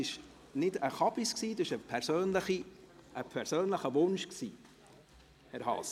Das war kein Unsinn, es war ein persönlicher Wunsch, Herr Haas.